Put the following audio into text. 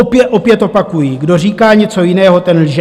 Opět opakuji - kdo říká něco jiného, ten lže!